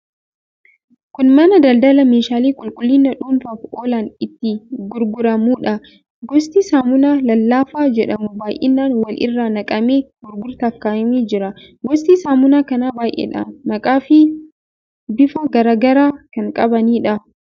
Kun mana daldalaa meeshaalee qulqullina dhuunfaaf oolan itti gurguramuudha. Gosti saamunaa lallaafaa jedhamu baay'inaan wal irra naqamee gurgurtaaf kaa'amee jira. Gosti saamunaa kanaa baay'eedha. Maqaafi bifa garaa garaa kan qabaniidha.